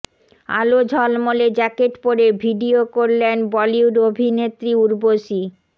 আলো ঝলমলে জ্যাকেট পরে ভিডিও করলেন বলিউড অভিনেত্রী উর্বশী